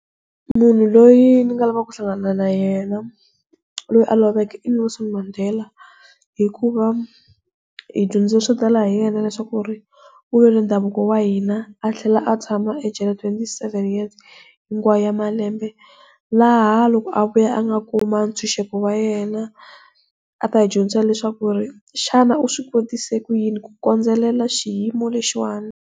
Munhu loyi ndzi lavaka ku hlangana na yena loyi a loveke i Nelson Mande hikuva hi dyondze swo tala hi yena leswaku ri ndhavuko wa hina a tlhela a tshama ejele dyela twenty-seven years hinkwayo ya malembe, laha loko a vuya a nga kuma ntshunxeko wa yena a ta hi dyondzisa leswaku ri xana uswikotise ku yini ku kondzelela xiyimo lexiwani.